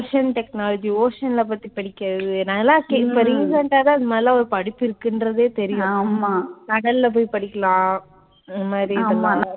ocean technology, ocean அ பத்தி படிக்கிறது இப்ப recent ஆ தான் இந்த மாதிரியெல்லாம் ஒரு படிப்பு இருக்கின்றதே தெரியும் படிக்கலாம் இந்த மாதிரி இதெல்லாம்